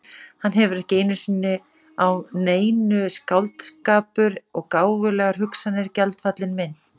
Hann hefur ekki sinnu á neinu, skáldskapur og gáfulegar hugsanir- gjaldfallin mynt.